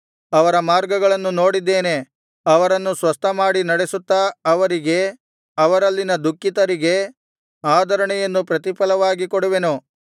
ಅವರ ಮಾರ್ಗಗಳನ್ನು ನೋಡಿದ್ದೇನೆ ಅವರನ್ನು ಸ್ವಸ್ಥಮಾಡಿ ನಡೆಸುತ್ತಾ ಅವರಿಗೆ ಅವರಲ್ಲಿನ ದುಃಖಿತರಿಗೆ ಆದರಣೆಯನ್ನು ಪ್ರತಿಫಲವಾಗಿ ಕೊಡುವೆನು